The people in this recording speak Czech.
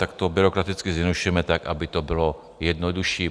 Tak to byrokraticky zjednodušujeme tak, aby to bylo jednodušší.